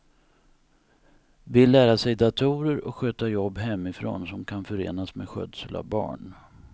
Vill lära sig datorer och sköta jobb hemifrån som kan förenas med skötsel av barn.